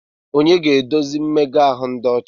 Onye ga-eduzi mmega ahụ ịdị ọcha?